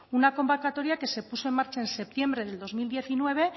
una convocatoria que se puso en marcha en septiembre de dos mil diecinueve